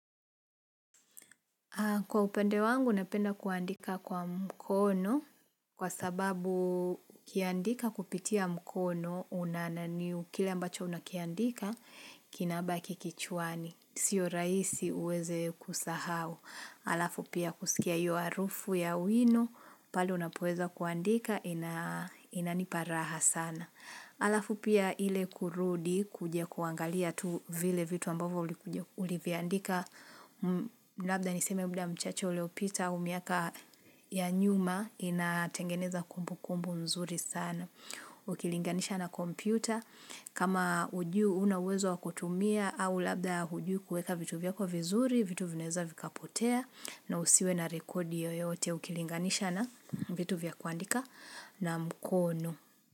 Kwa upande wangu napenda kuandika kwa mkono kwa sababu ukiandika kupitia mkono unananiu kile ambacho unakiandika kinabaki kichwani. Sio raisi uweze kusahau. Halafu pia kusikia hiyo harufu ya wino pale unapoweza kuandika inanipa raha sana. Halafu pia ile kurudi kuja kuangalia tu vile vitu ambavyo ulivyandika. Labda niseme muda mchache uliopita au miaka ya nyuma inatengeneza kumbukumbu nzuri sana ukilinganisha na kompyuta kama hujui, huna uezo wa kutumia au labda hujui kuweka vitu vyako vizuri, vitu vinaweza vikapotea na usiwe na rekodi yoyote ukilinganisha na vitu vya kuandika na mkono.